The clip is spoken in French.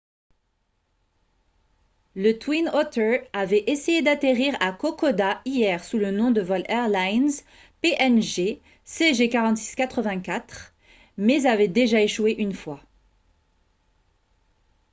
le twin otter avait essayé d'atterrir à kokoda hier sous le nom de vol airlines png cg4684 mais avait déjà échoué une fois